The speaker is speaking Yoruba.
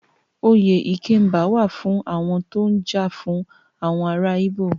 Oyè Ikemba wà á fún àwọn tó ń jà fún àwọn ará Íbò.